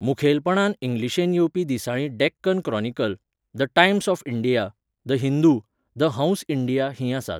मुखेलपणान इंग्लिशेंत येवपी दिसाळीं Deccan Chronicle, the Times of India, the Hindu, the Hans India हीं आसात.